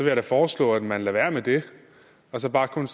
jeg da foreslå at man lader være med det og så bare kun